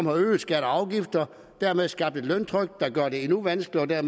har øget skatter og afgifter og dermed skabt et løntryk der gør det endnu vanskeligere